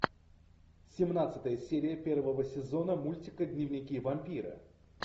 семнадцатая серия первого сезона мультика дневники вампира